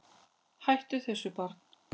Hættu þessu barn!